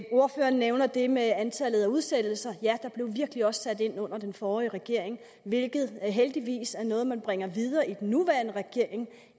ordføreren nævner det med antallet af udsættelser der blev virkelig også sat ind under den forrige regering hvilket heldigvis er noget man bringer videre i den nuværende regering